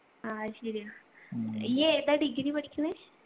ആ അത് ശരിയാ ഈ ഏതാ degree പഠിക്ക്ന്ന്